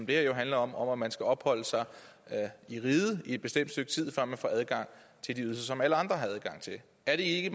det her jo handler om om at man skal have opholdt sig i riget et bestemt stykke tid før man får adgang til de ydelser som alle andre har adgang til er det ikke